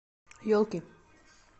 елки